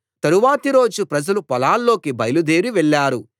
తరువాతి రోజు ప్రజలు పొలాల్లోకి బయలుదేరి వెళ్ళారు